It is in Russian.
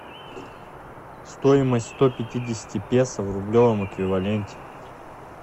стоимость сто пятидесяти песо в рублевом эквиваленте